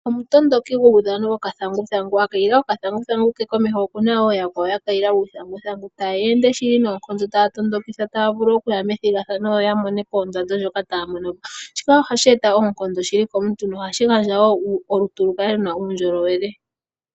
Omutondoki guudhano wokathanguthangu a kayila okathanguthangu po opena wo yakwawo ya kayila uuthanguthangu taya tondoka okuya methigathano yo yamone po ondando ndjoka taya monopo. Shika ohashi eta oonkondo komuntu nohashi eta olutu lukale luna uundjolowele.